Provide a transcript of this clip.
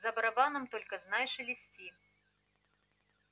за барабаном только знай шелести